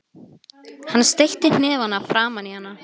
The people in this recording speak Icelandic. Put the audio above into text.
Hann steytti hnefana framan í hana.